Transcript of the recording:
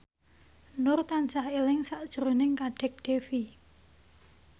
Nur tansah eling sakjroning Kadek Devi